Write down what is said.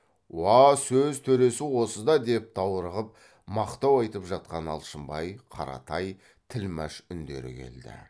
уа сөз төресі осы да деп даурығып мақтау айтып жатқан алшынбай қаратай тілмәш үндері келді